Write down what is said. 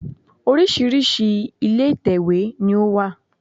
Oríṣìíríṣìí ilé ìtèwé ní ó wà